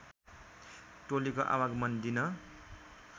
टोलीको आवागमन दिन